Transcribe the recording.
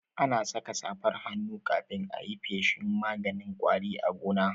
Ana saka safar hannu kafin ayi feshin maganin ƙwari a gona